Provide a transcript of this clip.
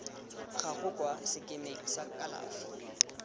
gago kwa sekemeng sa kalafi